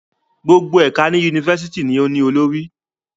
Gbogbo ẹka ni University ni o ni olori